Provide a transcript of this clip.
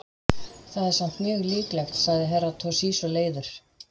Það er samt mjög líklegt, sagði Herra Toshizo leiður.